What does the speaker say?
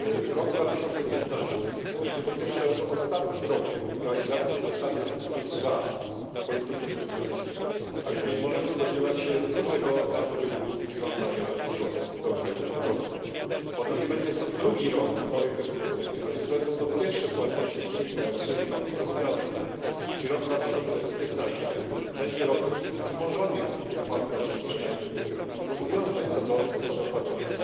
rok 2015 będzie, po pierwsze, ostatnim rokiem realizacji zasady N2 wpolityce spójności, możemy więc spodziewać się dużego napływu żądania zwrotów do krajów członkowskich, po drugie, będzie to drugi rok nowej perspektywy, co wiąże się z pierwszymi płatnościami wynikającymi z nowych zobowiązań. Rok 2015 będzie zatem rokiem wzmożonych płatności lub przynajmniej zobowiązań płatności,